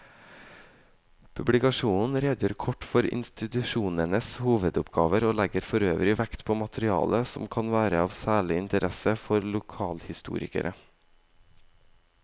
Publikasjonen redegjør kort for institusjonenes hovedoppgaver og legger forøvrig vekt på materiale som kan være av særlig interesse for lokalhistorikere.